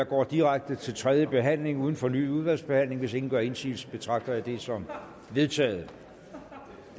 går direkte til tredje behandling uden fornyet udvalgsbehandling hvis ingen gør indsigelse betragter jeg det som vedtaget